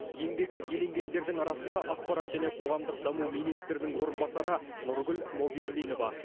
еңбегі еленгендердің арасында ақпарат және қоғамдық даму министрінің орынбасары нұргүл мауберлинова